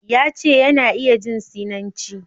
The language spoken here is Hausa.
Ya ce, yana iya jin Sinanci